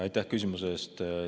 Aitäh küsimuse eest!